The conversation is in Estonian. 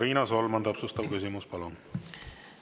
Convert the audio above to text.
Riina Solman, täpsustav küsimus, palun!